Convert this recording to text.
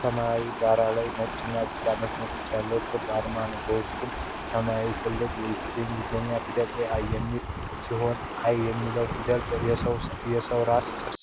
ሰማያዊ ዳራ ላይ ነጭ እና ቢጫ መስመሮች ያሉት ክብ አርማ አለ። በውስጡ ሰማያዊ ትልልቅ የእንግሊዝኛ ፊደላት “AI” የሚል ሲሆን፣ "I" የሚለው ፊደል የሰው ራስ ቅርጽ